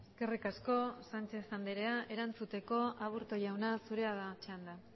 eskerrik asko sánchez andrea erantzuteko aburto jauna zurea da txanda